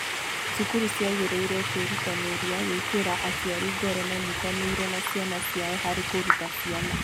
Cukuru ciagĩrĩirũo kwĩrutanĩria gwĩkĩra aciari ngoro manyitanĩre na ciana ciao harĩ kũruta ciana.